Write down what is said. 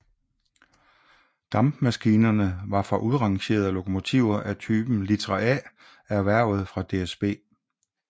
Dampmaskinerne var fra udrangerende lokomotiver af typen Litra A erhvervet fra DSB